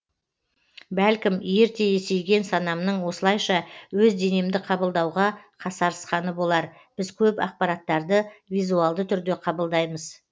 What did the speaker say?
бәлкім ерте есейген санамның осылайша өз денемді қабылдауға қасарысқаны болар біз көп ақпараттарды визуалды түрде қабылдаймыз